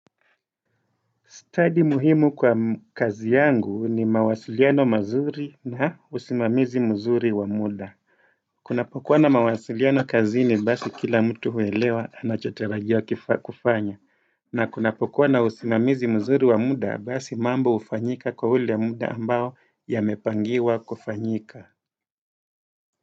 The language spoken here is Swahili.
Study muhimu kwa kazi yangu ni mawasiliano mazuri na usimamizi mzuri wa muda. Kunapokuwa na mawasiliano kazini basi kila mtu huelewa anachotarajiwa kufanya. Na kunapokuwa na usimamizi mzuri wa muda basi mambo hufanyika kwa ule muda ambao yamepangiwa kufanyika.